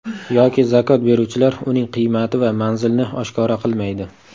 Yoki zakot beruvchilar uning qiymati va manzilini oshkora qilmaydi.